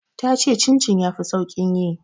Ta ce chin chin ya fi saƙin yi.